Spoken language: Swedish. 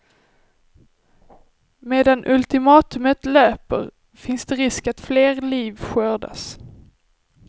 Medan ultimatumet löper finns det risk att fler liv skördas.